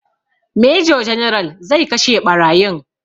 Major general zai kashe ɓarayin